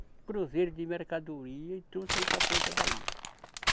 cruzeiros de mercadoria e trouxe aí para a ponta da ilha.